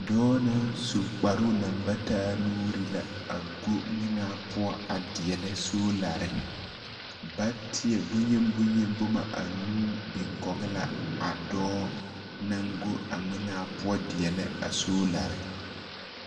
Dɔɔ naŋ su kparoo naŋ ba taa nuuri la a go ŋmenaa poɔ a deɛlɛ soolare. Bateɛ boŋyeni boŋyeni boma anuu biɛ kɔge la a dɔɔ naŋ go a ŋmenaa poɔ a deɛlɛ a soolare.